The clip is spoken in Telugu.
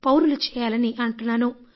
పౌరులు చేయాలి అంటున్నాను